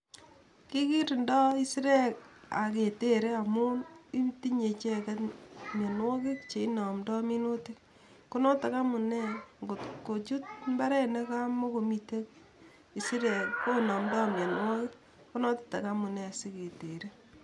kikirindoo isirek oketere amun tinye icheket mionuokik cheinomdoo minutik konotok amune ngotkochut imbaret negamogomiten isirek konomdoo mionuogik konoton amunee siketere